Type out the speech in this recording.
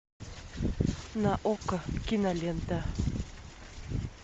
на окко кинолента